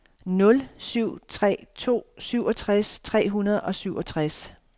nul syv tre to syvogtres tre hundrede og syvogtres